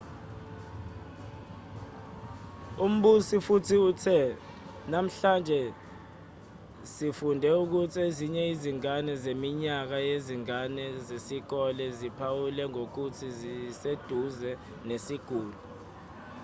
umbusi futhi uthe namhlanje sifunde ukuthi ezinye izingane zeminyaka yezingane zesikole ziphawulwe ngokuthi zibeseduze nesiguli